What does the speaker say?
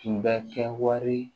Tun bɛ kɛ wari